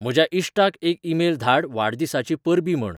म्हज्या इश्टाक एक ईमेल धाड वाडदिसाचीं परबीं म्हण